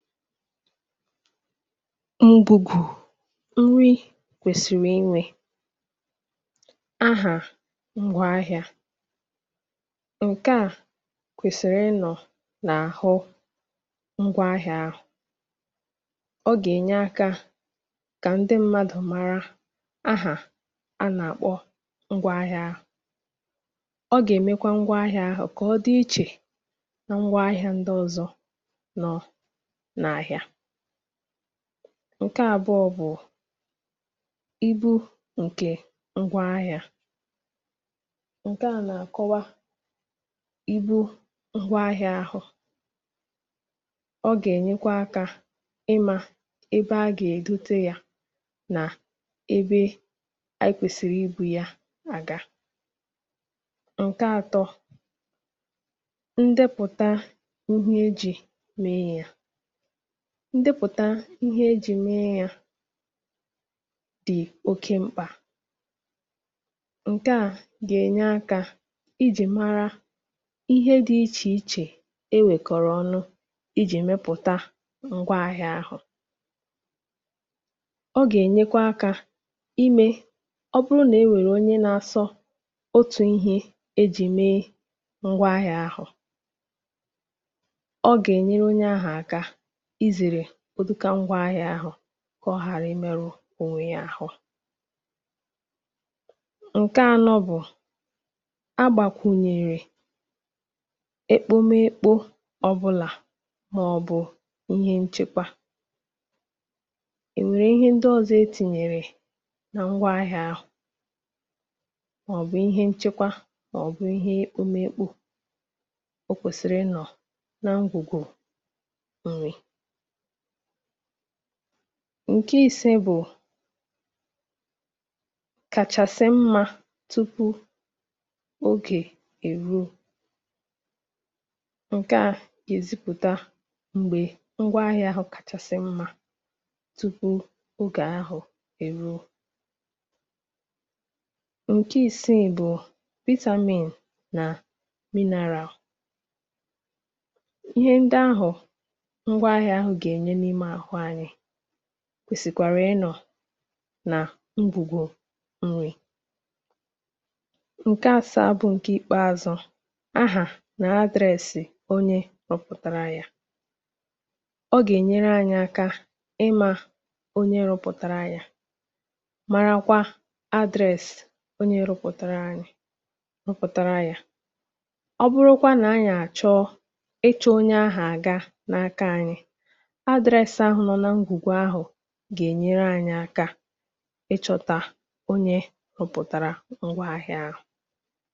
Mbùkù nri kwèsịrị inwe; ahà ngwáahịȧ. Nke a kwèsịrị ị nọ̀ nà-àhụ ngwà ahịȧ ahụ̀, ọ gà-ènye akȧ kà ndị mmadụ̀ mara ahà a nà-àkpọ ngwà ahịá ahụ̀. Ọ gà-èmekwa ngwaahịa ahụ̀ kà ọ dị ichè na ngwaahịa ndị ọzọ. Nkè abụọ bụ̀ ibu ǹkè ngwaahịȧ. Nkè a nà-àkọwá ibú̇ ngwa ngwaahịȧ ȧhụ̇, ọ gà-ènyekwa akȧ ịmȧ ebe a gà-èbute yȧ nà ebe ekwesịrị ibu ya aga. Nkè atọ̇, ndepụ̀ta ihe ejì mee yȧ. Ndepụ̀ta ihe e jì mee yȧ dị̀ oke mkpà, ǹke à gà-ènye akȧ ijì mara ihe dị̇ ichè ichè e wèkọ̀rọ̀ ọnụ ijì mepụ̀ta ngwaahịȧ ahụ̀. Ọ gà-ènyekwa ákȧ imė ọ bụrụ nà e nwèrè onye na-asọ otu̇ i̇hė e jì mee ngwaahịȧ ahụ̀, ọ gà-ènyere onye ahụ̀, àka izèrè ụdịkȧ ngwȧahịa ahụ̇ kà ọ ghàra imėrụ̇ ònwè yȧ àhụ. Nke anọ̇ bụ̀, ágbàkwùnyèrè ékpómekpó ọ̀bụlà màọ̀bụ̀ ihe nchekwa. Ịhụrụ ihe ndị ọzọ etinyere na ngwaahịa ahụ? Màọ̀bụ̀ ihe nchekwa màọ̀bụ̀ ihe ékpómekpó, o kwèsìrì ị nọ̀ na ngwùgwù nri. Nke ise bụ̀, kàchàsị̀ mma tupu ogè èruo. Nke à èzipụ̀ta m̀gbè ngwaahịa ahụ kàchàsị̀ mma tupu ogè ahụ̀ è ruo. Nke isii bụ̀ vitamin nà mineral Ihe nde ahụ ngwaahịa gà-ènye n'ime ahụ anyị kwèsị̀kwàrà ịnọ̀ nà ngwùgwu nri̇. Nke asaa bụ ǹkè ikpeazụ̇. Ahà nà address onye rụpụ̀tara yȧ. Ọ gà-ènyere anyị̇ aka ịmȧ onye rụpụ̀tara yȧ, marakwa address onye rụpụ̀tara rụpụtara ya. Ọ bụrụkwa nà ányị̀ àchọọ ịchọ̇ onye ahụ aga n’aka anyị, address ahụ gà-enyere anyị̇ aka ịchọ̇tá onye rụpụ̀tàrà ngwaahịa ahụ̇.